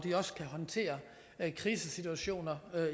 kan håndtere krisesituationer